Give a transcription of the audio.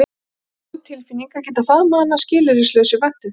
Það var góð tilfinning að geta faðmað hana af skilyrðislausri væntumþykju.